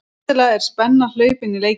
Skyndilega er spenna hlaupin í leikinn